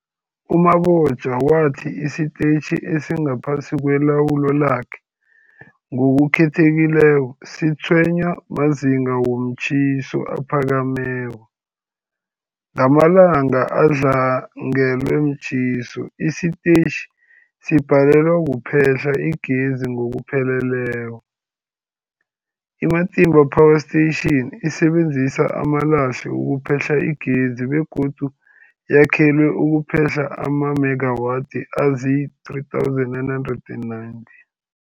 U-Mabotja wathi isitetjhi esingaphasi kwelawulo lakhe, ngokukhethekileko, sitshwenywa mazinga womtjhiso aphakemeko. Ngamalanga adlangelwe mtjhiso, isitetjhi sibhalelwa kuphehla igezi ngokupheleleko. I-Matimba Power Station isebenzisa amalahle ukuphehla igezi begodu yakhelwe ukuphehla amamegawathi azii-3990